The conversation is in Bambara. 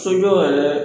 Sojɔ yɛrɛ